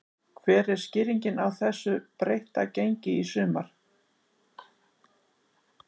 Hver er skýringin á þessu breytta gengi í sumar?